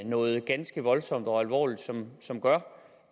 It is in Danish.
noget ganske voldsomt og alvorligt som som gør